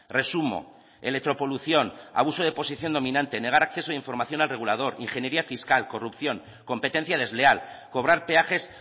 resumo electropolución abuso de posición dominante negar acceso de información al regulador ingeniería fiscal corrupción competencia desleal cobrar peajes